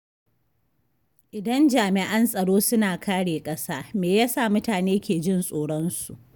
Idan jami’an tsaro suna kare ƙasa, me yasa mutane ke jin tsoronsu?